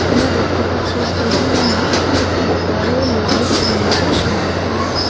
আমরা দেখতে পাচ্ছি স্টেডিয়ামে একটি বড় লাইট রয়েছে সাদা কালারের।